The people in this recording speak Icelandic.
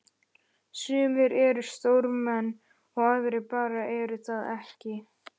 sumir eru stórmenni og aðrir bara eru það ekki.